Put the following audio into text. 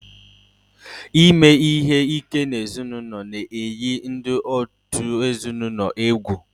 Ime ihe ike n'ime ụlọ na-eyi ndị òtù ezinụlọ egwu